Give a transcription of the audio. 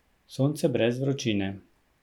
Sonce brez vročine.